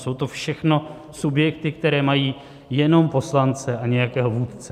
Jsou to všechno subjekty, které mají jenom poslance a nějakého vůdce.